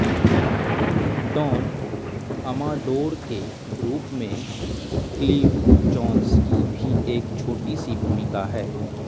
done Amador के रूप में क्लीव जोन्स की भी एक छोटी सी भूमिका है